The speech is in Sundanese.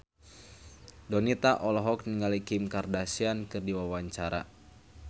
Donita olohok ningali Kim Kardashian keur diwawancara